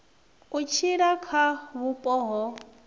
u tshila kha vhupo ho